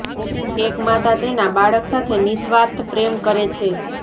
એક માતા તેના બાળક સાથે નિઃસ્વાર્થ પ્રેમ કરે છે